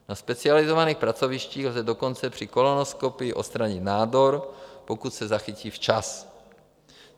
Na specializovaných pracovištích lze dokonce při kolonoskopii odstranit nádor, pokud se zachytí včas.